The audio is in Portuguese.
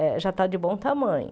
Eh já está de bom tamanho.